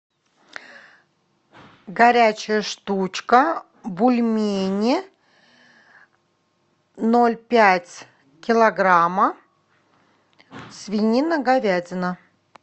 горячая штучка бульмени ноль пять килограмма свинина говядина